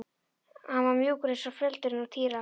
Hann var mjúkur eins og feldurinn á Týra.